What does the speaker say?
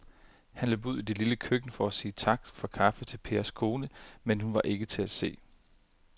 Han løb ud i det lille køkken for at sige tak for kaffe til Pers kone, men hun var ikke til at se.